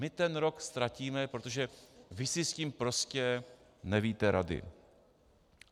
My ten rok ztratíme, protože vy si s tím prostě nevíte rady.